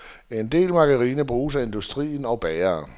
En del margarine bruges af industrien og bagere.